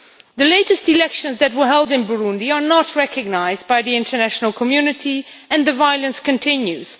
The latest elections that were held in Burundi are not recognised by the international community, and the violence continues.